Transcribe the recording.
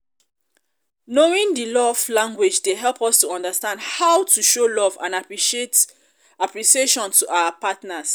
knowing di love um language dey help us to understand how to um show love and appreciation to our partners.